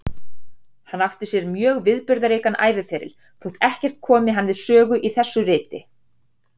Hann átti sér mjög viðburðaríkan æviferil, þótt ekkert komi hann við sögu í þessu riti.